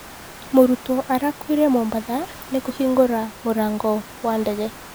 Mũrutwo arakuire Mombatha nĩ 'kũhingũra mũrango wa ndege.'